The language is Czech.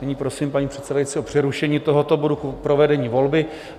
Nyní prosím, paní předsedající, o přerušení tohoto bodu k provedení volby.